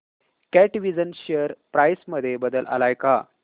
कॅटविजन share price मध्ये बदल आलाय का